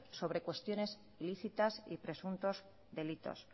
sobre cuestionesi lícitas y presuntos delitos